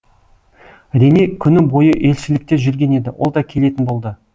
рене күні бойы елшілікте жүрген еді ол да келетін болды